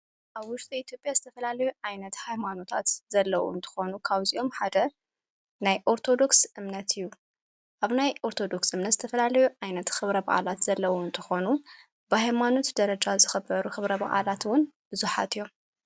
ኣብ ውሽጢ ኢትዮጲያ ዝተፈላለዩ ኣይነቲ ኃይማኖታት ዘለዉን ተኾኑ ካብዚኦም ሓደ ናይ ኦርቶዶክስ እምነት እዩ ።ኣብ ናይ ኦርቶዶክስ እምነት ዝተፈላለዩ ዓይነቲ ኽብረ ብዓላት ዘለዉን ተኾኑ ብሕይማኖት ደረጃ ዝኽበሩ ኽብረብ ዓላትውን ብዙኃት እዮም።